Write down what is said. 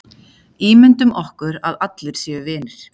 Ímyndum okkur að allir séu vinir.